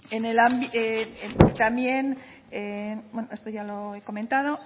esto ya lo he comentado